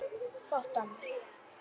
Fátt annað.